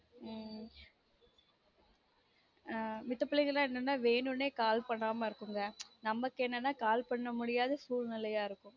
உம் ஆஹ் மித்த பிள்ளைங்கலான் என்னனா வேணுனே call பண்ணாம இருக்குங்க நமக்கு என்னனா call பண்ண முடியாத சூழ்நிலையா இருக்கும்